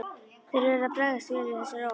Þeir urðu að bregðast vel við þessari ósk.